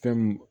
Fɛn mun